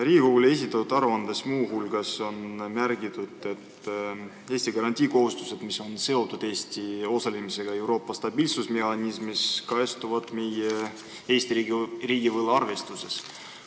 Riigikogule esitatud aruandes on muu hulgas märgitud, et Eesti garantiikohustused, mis on seotud Eesti osalemisega Euroopa stabiilsusmehhanismis, kajastuvad meie riigivõla arvestuses.